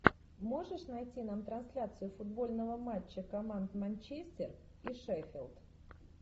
можешь найти нам трансляцию футбольного матча команд манчестер и шеффилд